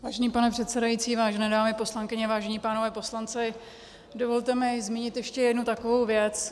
Vážený pane předsedající, vážené dámy poslankyně, vážení pánové poslanci, dovolte mi zmínit ještě jednu takovou věc.